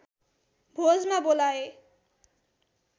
भोजमा बोलाए